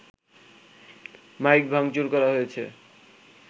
mic ভাংচুর করা হয়েছে